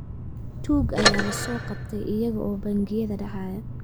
Tuug ayaa la soo qabtay iyaga oo bangiyada dhacaya